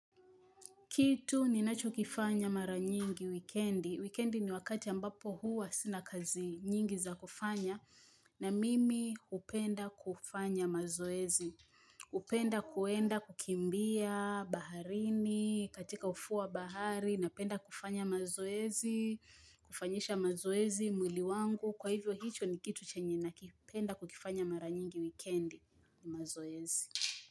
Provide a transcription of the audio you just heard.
Kitu ninacho kifanya mara nyingi wikendi. Wikendi ni wakati ambapo huwa sina kazi nyingi za kufanya na mimi hupenda kufanya mazoezi. Hupenda kwenda kukimbia baharini, katika ufuo wa bahari na penda kufanya mazoezi, kufanyisha mazoezi mwili wangu. Kwa hivyo hicho ni kitu chenye nakipenda kukifanya mara nyingi wikendi mazoezi.